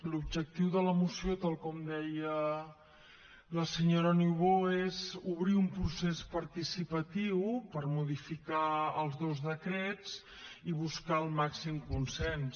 l’objectiu de la moció tal com deia la senyora niubó és obrir un procés participatiu per modificar els dos decrets i buscar el màxim consens